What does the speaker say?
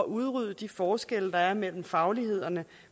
udrydde de forskelle der er mellem faglighederne